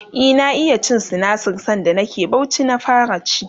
e na iya cin sinasir sanda nake Bauchi na fara ci